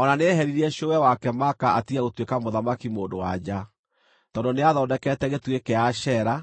O na nĩeheririe cũwe wake Maaka atige gũtuĩka mũthamaki-mũndũ-wa-nja, tondũ nĩathondekete gĩtugĩ kĩa Ashera,